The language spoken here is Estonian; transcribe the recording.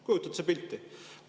Kujutad sa pilti?!